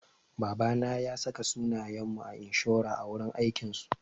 Babana ya saka sunayen mu a inshora a wurin aikin su.